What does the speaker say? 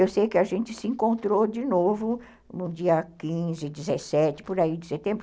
Eu sei que a gente se encontrou de novo no dia quinze, dezessete, por aí de setembro.